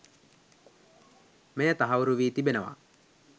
මෙය තහවුරු වී තිබෙනවා.